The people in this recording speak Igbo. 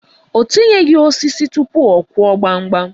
O tinyeghi osisi tụpụ ọ Kụọ gbamgbam.